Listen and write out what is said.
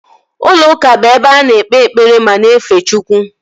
Ụlọ ụka bụ ebe a na-ekpe ekpere ma na-efe Chukwu